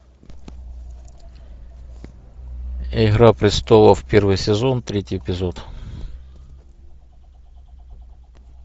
игра престолов первый сезон третий эпизод